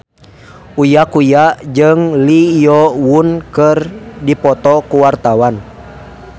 Uya Kuya jeung Lee Yo Won keur dipoto ku wartawan